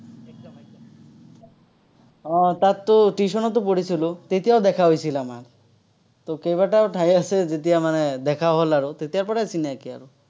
আহ তাততো, tuition তো পঢ়িছিলো, তেতিয়াও দেখা হৈছিল আমাৰ। তো কেইবাটাও ঠাই আছে, যেতিয়া মানে দেখা হল আৰু, তেতিয়াৰ পৰাই চিনাকি আৰু।